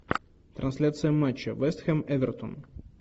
трансляция матча вест хэм эвертон